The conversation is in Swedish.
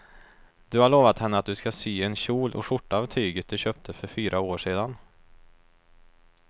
Du har lovat henne att du ska sy en kjol och skjorta av tyget du köpte för fyra år sedan.